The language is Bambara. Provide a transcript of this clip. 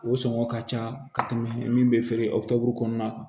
O sɔngɔ ka ca ka tɛmɛ min be feere o tafe kɔnɔna kan